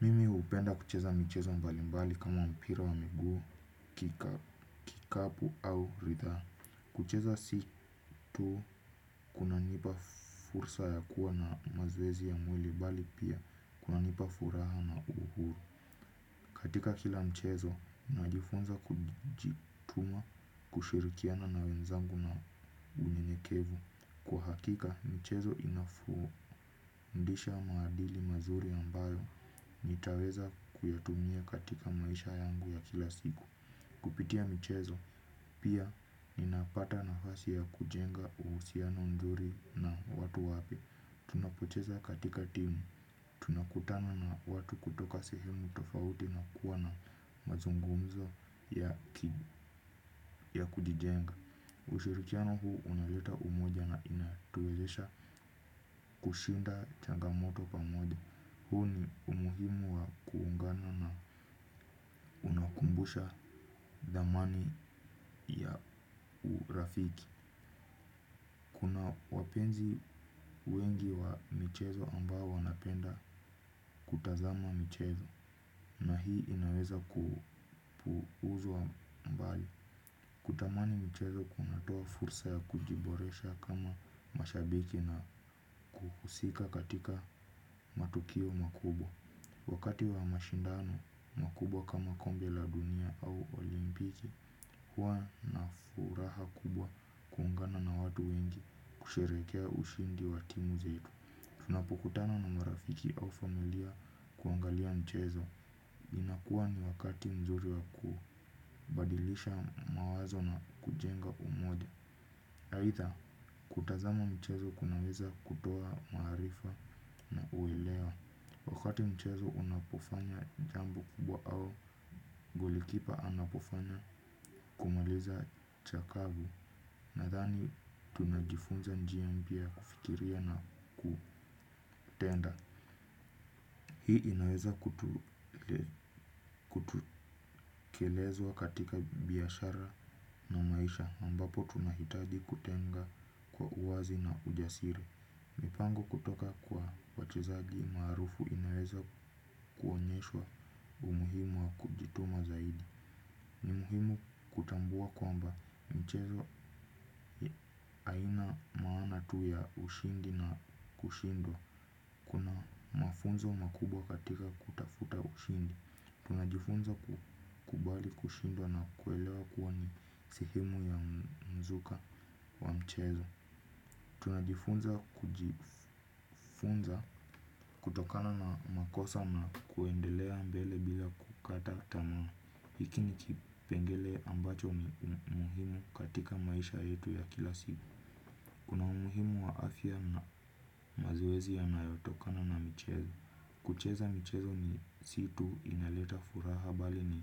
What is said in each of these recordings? Mimi hupenda kucheza michezo mbali mbali kama mpira wa miguu, kikapu au riadha. Kucheza si tu kunanipa fursa ya kuwa na mazoezi ya mwili bali pia kuna nipa furaha na uhuru. Katika kila mchezo, najifunza kujituma kushirikiana na wenzangu na unyenyekevu. Kwa hakika michezo inafundisha maadili mazuri ambayo nitaweza kuyatumia katika maisha yangu ya kila siku kupitia michezo pia ninapata nafasi ya kujenga uhusiano mzuri na watu wapya tunapocheza katika timu tunakutana na wtu kutoka sehemu tofauti na kuwa na mazungumzo ya kujijenga. Ushirikiano huu unaleta umoja na inatuwezesha kushinda changa moto pamoja. Huu ni umuhimu wa kuungana na unakumbusha dhamani ya urafiki. Kuna wapenzi wengi wa michezo ambao wanapenda kutazama michezo na hii inaweza ku uzwa mbali. Kutamani mchezo kunatoa fursa ya kujiboresha kama mashabiki na kuhusika katika matukio makubwa. Wakati wa mashindano makubwa kama kombe la dunia au olimpiki huwaa na furaha kubwa kuungana na watu wengi kusherehekea ushindi wa timu zetu. Tunapokutana na marafiki au familia kuangalia mchezo. Inakuwa ni wakati mzuri waku badilisha mawazo na kujenga umoja aitha, kutazama mchezo kunaweza kutoa maarifa na uelewa. Wakati mchezo unapofanya jambo kubwa au, golikipa anapofanya kumaliza chakavu nathani tunajifunza njia mpya ya kufikiria na kutenda. Hii inaweza kutekelezwa katika biashara na maisha ambapo tunahitaji kutenga kwa uwazi na ujasiri. Mipango kutoka kwa wachezagi maarufu inaweza kuonyeshwa umuhimu wa kujituma zaidi. Ni muhimu kutambua kwamba mchezo haina maana tu ya ushindi na kushindwa. Kuna mafunzo makubwa katika kutafuta ushindi. Tunajifunza ku kubali kushindwa na kuelewa kuwa ni sehemu ya mzuka wa mchezo. Tunajifunza kujifunza kutokana na makosa na kuendelea mbele bila kukata tama. Hiki ni kipengele ambacho muhimu katika maisha yetu ya kila siku. Kuna umuhimu wa afya na mazoezi yanayotokana na michezo. Kucheza michezo ni si tu inaleta furaha bali ni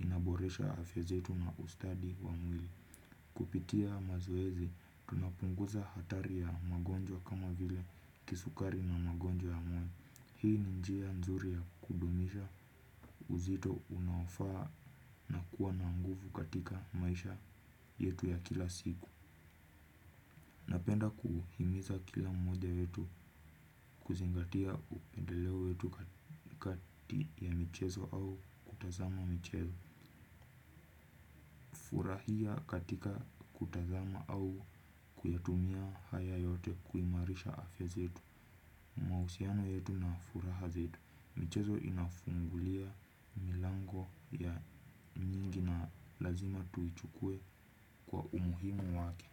inaboresha afya zetu na ustadi wa mwili. Kupitia mazoezi, tunapunguza hatari ya magonjwa kama vile kisukari na magonjwa ya moyo. Hii ni njia nzuri ya kudumisha uzito unaofaa kuwa na nguvu katika maisha yetu ya kila siku. Napenda kuhimiza kila moja wetu kuzingatia upendeleo wetu kati ya michezo au kutazama michezo. Urahia katika kutazama au kuyatumia haya yote kuimarisha afya zetu. Mahusiano yetu na furaha zetu. Michezo inafungulia milango ya nyingi na lazima tuichukue kwa umuhimu wake.